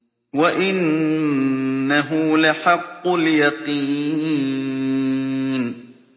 وَإِنَّهُ لَحَقُّ الْيَقِينِ